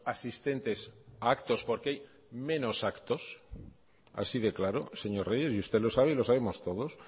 asistentes a actos porque hay menos actos así de claro señor reyes y usted lo sabe y lo sabemos todos